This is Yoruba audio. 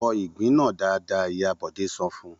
Fọ ìgbín náà dáadáa! Ìyá Bọ̀dé sọ fún un.